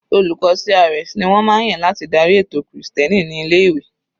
Olùkọ́ CRS ni wọ́n máa ń yàn láti darí ètò krìstẹ́nì ní ilé-ìwé.